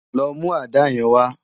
Lò mú àdá yèn wá